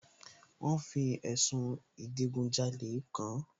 Wọ́n fi ẹ̀sùn ìdigunjalè kàán